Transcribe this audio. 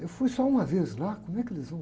Eu fui só uma vez lá, como é que eles vão?